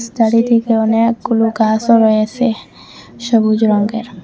চারিদিকে অনেকগুলু গাসও রয়েসে সবুজ রঙ্গের।